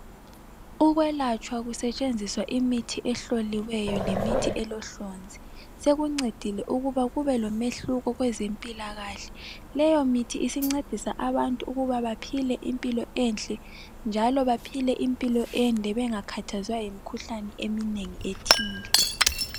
Ukwelatshwa kusetshenziswa imithi ehloliweyo lemithi elohlonzi sekuncedile ukuba kube lomehluko kwezempilakahle .Leyo mithi isincedisa abantu ukuba baphile impilo enhle njalo baphile impilo ende bengakhathazwa yimkhuhlane eminengi ethile .